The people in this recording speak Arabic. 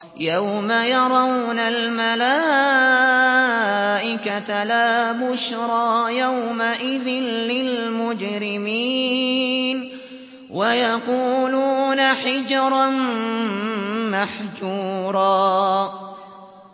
يَوْمَ يَرَوْنَ الْمَلَائِكَةَ لَا بُشْرَىٰ يَوْمَئِذٍ لِّلْمُجْرِمِينَ وَيَقُولُونَ حِجْرًا مَّحْجُورًا